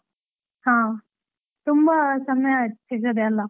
ಹಾ, ತುಂಬಾ ಸಮಯ ಆಯ್ತು ಸಿಗದೆ ಅಲಾ.